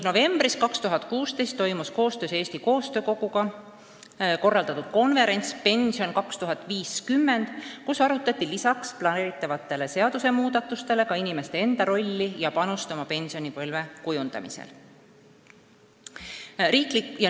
Novembris 2016 aga toimus koostöös Eesti Koostöö Koguga korraldatud konverents "Pension 2050", kus arutati peale planeeritavate seadusmuudatuste ka inimeste enda rolli ja panust oma pensionipõlve kujundamisel.